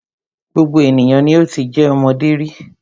Gbogbo ènìyàn ni o ti jẹ́ ọmọdé rí.